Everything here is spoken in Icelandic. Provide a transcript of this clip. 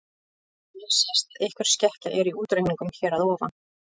Þannig sést að einhver skekkja er í útreikningunum hér að ofan.